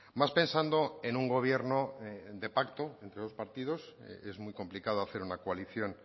más pensando en un gobierno de pacto entre dos partidos es muy complicado hacer una coalición